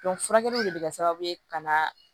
furakɛli de bɛ kɛ sababu ye ka na